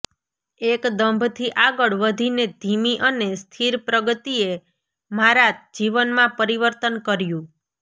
એક દંભથી આગળ વધીને ધીમી અને સ્થિર પ્રગતિએ મારા જીવનમાં પરિવર્તન કર્યું